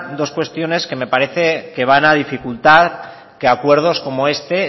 dos cuestiones que me parecen que van a dificultar que acuerdos como este